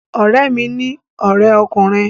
Ọ̀rẹ́ mi ní ọrẹ ọkùnrin